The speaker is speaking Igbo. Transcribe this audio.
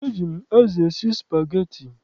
Eji m azụ esi spageti.